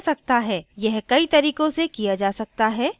यह कई तरीकों से किया जा सकता है